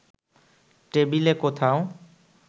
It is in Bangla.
টেবিলে কোথাও